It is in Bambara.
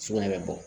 Sugunɛ bɛ bɔ